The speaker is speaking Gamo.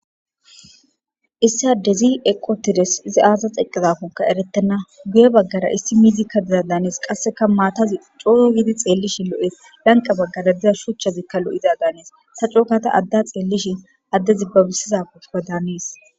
Issi adezi eqi utides izi aza xelidako eretena guye bagara issi mizika diza danes eretena qasika matazi coo gidi xelishin lo'es eyani diza shuchatika loiza danees ta coogada adeya xelishin adezi banidira danees